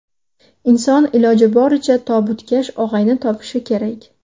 Inson iloji boricha tobutkash og‘ayni topishi kerak.